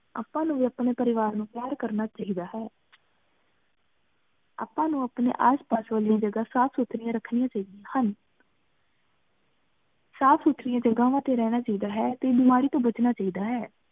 ਅਪ੍ਪਾ ਨੂ ਵੀ ਅਪਨੇ ਪਰਿਵਾਰ ਨੂ ਪਯਾਰ ਕਰਨਾ ਚਾਹੀਦਾ ਹੈ। ਅਪ੍ਪਾ ਨੂ ਅਪਨੀ ਆਸ ਪਾਸ ਦੀ ਜਗ੍ਹਾ ਸਾਫ਼ ਸੁਥ੍ਰਿਯਾੰ ਰ੍ਖ੍ਨਿਆ ਚਾਹੀ ਦਿਯਾ ਹਨ। ਸਾਫ਼ ਸੁਥ੍ਰਿਯਾਂ ਜਗ੍ਹਾ ਡੀ ਰਹਨਾ ਚਾਹੀਦਾ ਟੀ ਬੇਮਾਰੀ ਤੋ ਬਚਨਾ ਚਾਹੀਦਾ ਹੈ।